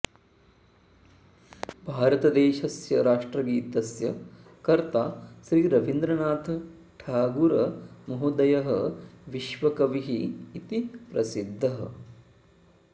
भारतदेशस्य राष्ट्रगीतस्य कर्ता श्री रवीन्द्रनाथ ठागूरमहोदयः विश्वकविः इति प्रसिध्दः